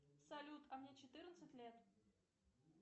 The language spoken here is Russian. салют а мне четырнадцать лет